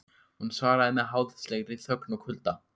En hún svaraði með háðslegri þögn og kulda.